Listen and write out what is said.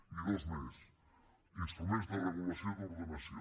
i dos més instruments de regulació i d’ordenació